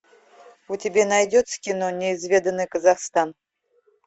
у тебя найдется кино неизведанный казахстан